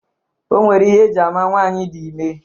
O nwere ihe eji ama nwaanyị dị ime